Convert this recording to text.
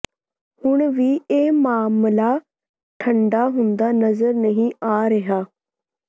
ਹੁਣ ਵੀ ਇਹ ਮਾਮਲਾ ਠੰਡਾ ਹੁੰਦਾ ਨਜ਼ਰ ਨਹੀਂ ਆ ਰਿਹਾ